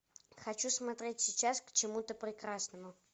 хочу смотреть сейчас к чему то прекрасному